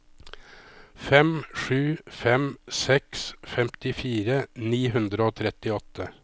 fem sju fem seks femtifire ni hundre og trettiåtte